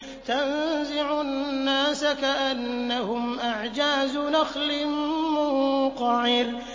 تَنزِعُ النَّاسَ كَأَنَّهُمْ أَعْجَازُ نَخْلٍ مُّنقَعِرٍ